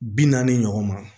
Bi naani ɲɔgɔn ma